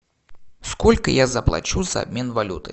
сколько я заплачу за обмен валюты